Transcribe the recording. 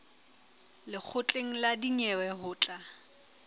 lekgotleng la dinyewe ho tla